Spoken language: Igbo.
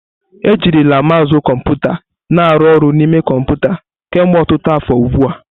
Ejirila mousu kọmputa na aru oru n'ime kọmpụta kemgbe ọtụtụ afọ ugbu a.